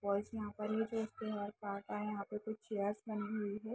Boys यहाँ पर ही जो उसके हेयर काट रहे है यह पर कुछ चेयर लगी हुई है ।